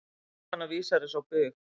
Jóhanna vísar þessu á bug.